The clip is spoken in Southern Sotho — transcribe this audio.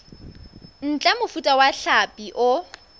ntle mofuta wa hlapi o